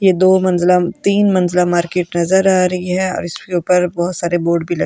ये दो मंजलम तीन मंज़िला मार्केट नज़र आ रही है और इसके ऊपर बहुत सारे बोर्ड भी लगे --